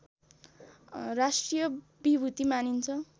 राष्ट्रिय विभूति मानिन्छ